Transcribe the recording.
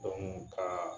ka